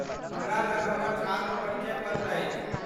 हमरा लग हमर छात्र परिचय पत्र अछि।